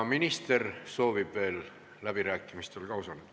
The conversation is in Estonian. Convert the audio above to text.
Minister soovib ka veel läbirääkimistel osaleda.